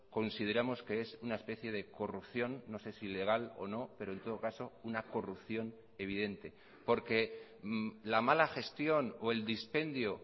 consideramos que es una especie de corrupción no sé si legal o no pero en todo caso una corrupción evidente porque la mala gestión o el dispendio